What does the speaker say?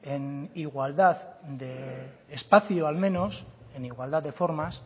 en igualdad de espacio al menos en igualdad de formas